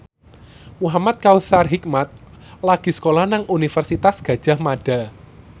Muhamad Kautsar Hikmat lagi sekolah nang Universitas Gadjah Mada